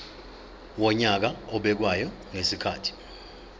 wonyaka obekwayo ngezikhathi